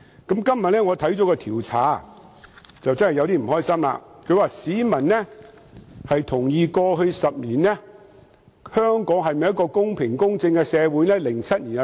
今天，我看到一項調查，實在覺得不開心，調查主要問市民是否同意，過去10年香港是一個公平公正的社會。